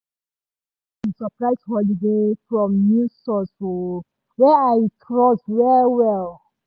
i hear about di surprise holiday from news source um wey i trust well well